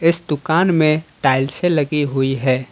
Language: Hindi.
इस दुकान में टाइल्से लगी हुई है ।